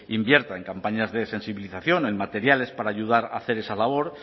invierta en campañas de sensibilización en materiales para ayudar a hacer esa labor